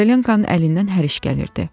Korolenkonun əlindən hər iş gəlirdi.